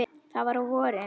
Það var á vorin.